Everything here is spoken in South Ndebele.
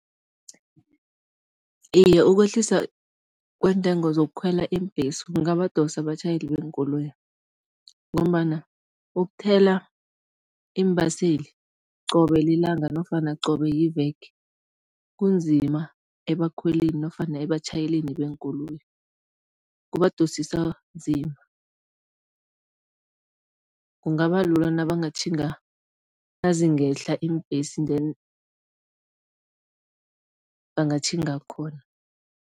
Iye, ukwehlisa kweentengo zokukhwela iimbhesi, kungabadosa abatjhayeli beenkoloyi ngombana ukuthela iimbaseli qobe lilanga nofana qobe yiveke, kunzima ebakhwelini nofana ebatjhayeleni beenkoloyi, kubadosisa nzima. Kungaba lula nabangatjhinga, nazingehla iimbhesi then bangatjhinga khona.